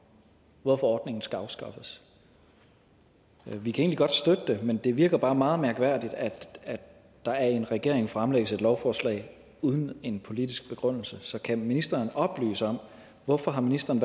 hvorfor ordningen skal afskaffes vi kan egentlig godt støtte det men det virker bare meget mærkværdigt at der af en regering fremsættes et lovforslag uden en politisk begrundelse så kan ministeren oplyse om hvorfor ministeren